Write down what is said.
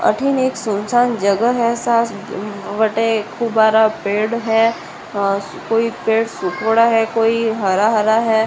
अटींन एक सुनसान जगह है बटे खूब बरा पेड़ है कोई पेड़ सुखेड़ा है कोई हरा हरा है।